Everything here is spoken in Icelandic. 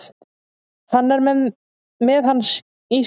Hann er með hann í sér.